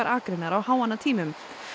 akreinar á háannatímum